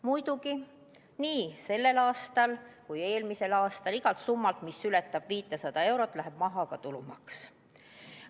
Muidugi, nii sellel aastal kui eelmisel aastal läks igalt summalt, mis ületas 500 eurot, maha tulumaks.